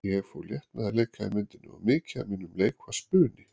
Ég fór létt með að leika í myndinni og mikið af mínum leik var spuni.